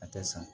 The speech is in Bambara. A tɛ san